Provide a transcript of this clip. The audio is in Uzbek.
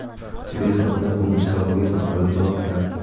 Tibet haqidagi o‘n uch savolga qiziqarli javoblar.